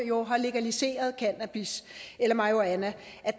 jo har legaliseret cannabis eller marihuana